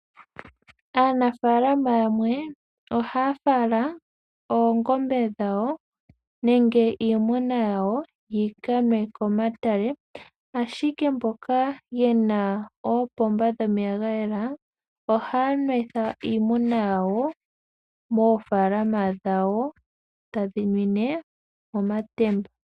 Aanafalama yamwe ohaya fala oongombe dhawo, nenge iimuna yawo yikanwe komatale. Ashike mboka yena oopomba dhomeya gayela, ohaya nwetha iimuna yawo moofalama dhawo, tadhi nwine momatemba.